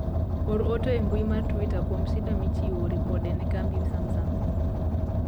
or ote e mbui mar twita kuom sida michiwo ripode ne kambi smasung